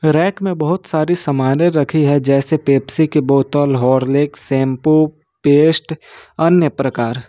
Rack में बहुत सारी सामाने रखी है जैसे पेप्सी के बोतल हॉरलिक्स शैंपू पेस्ट अन्य प्रकार।